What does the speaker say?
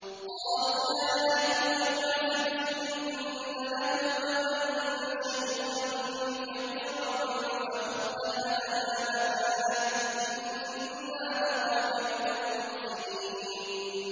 قَالُوا يَا أَيُّهَا الْعَزِيزُ إِنَّ لَهُ أَبًا شَيْخًا كَبِيرًا فَخُذْ أَحَدَنَا مَكَانَهُ ۖ إِنَّا نَرَاكَ مِنَ الْمُحْسِنِينَ